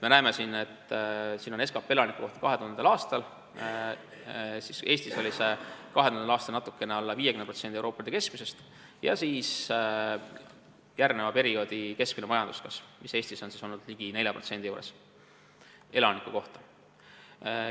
Me näeme, et siin on SKP ühe elaniku kohta 2000. aastal, mis Eestis oli 2000. aastal natuke alla 50% Euroopa Liidu keskmisest, ja näeme ka järgneva perioodi keskmist majanduskasvu, mis Eestis on olnud ligi 4% elaniku kohta.